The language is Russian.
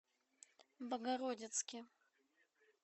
богородицке